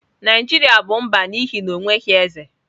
Naijiria bụ mba n'ihi na o nweghị eze.